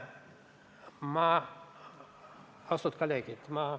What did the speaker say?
Austatud kolleegid!